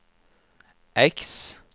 X